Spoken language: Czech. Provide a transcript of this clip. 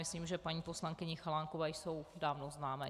Myslím, že paní poslankyni Chalánkové jsou dávno známé.